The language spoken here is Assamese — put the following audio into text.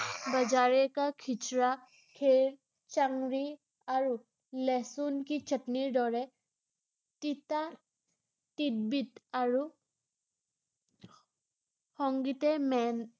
বজাৰে কা খিচৰা চংৰি আৰু লেহচুণ কি চাতনিৰ দৰে, তিতা তিতবিত আৰু সংগীতে মেন